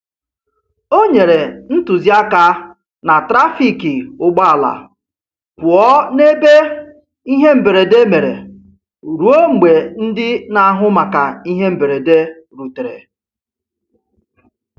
O nyere ntụziaka na trafiki ụgbọala pụọ n'ebe ihe mberede mere ruo mgbe ndị n'ahụ maka ihe mberede rutere.